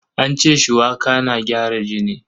An ce shuwaka na gyara jini.